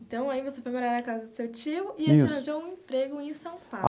Então aí você foi morar na casa do seu tio e ele te arranjou um emprego em São Paulo?